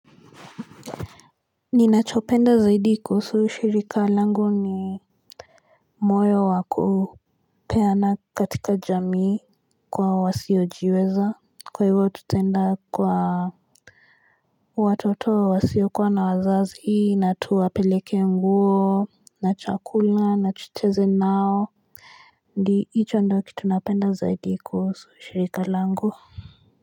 Ninachopenda zaidi kuhusu shirika langu ni moyo wa kupeana katika jamii kwa wasiojiweza Kwa hivyo tutaenda kwa Watoto wa wasiokuwa na wazazi na tuwapeleke nguo na chakula na tucheze nao hicho ndio kitu napenda zaidi kuhusu shirika langu.